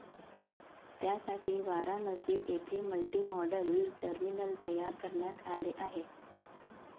त्यासाठी वाराणसी येथे multimodal terminal तयार करण्यात आले आहे.